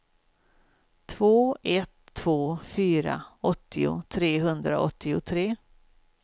två ett två fyra åttio trehundraåttiotre